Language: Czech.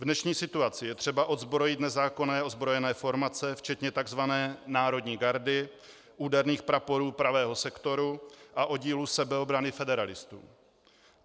V dnešní situaci je třeba odzbrojit nezákonné ozbrojené formace včetně tzv. národní gardy, úderných praporů Pravého sektoru a oddílu sebeobrany federalistů.